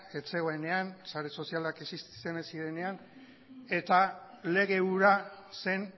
ez zegoenean sare sozialak existitzen ez zirenean eta lege hura zen